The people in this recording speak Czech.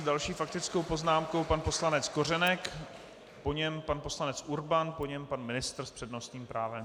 S další faktickou poznámkou pan poslanec Kořenek, po něm pan poslanec Urban, po něm pan ministr s přednostním právem.